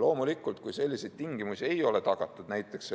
Loomulikult, kui sellised tingimused ei ole tagatud näiteks